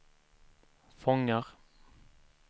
fångar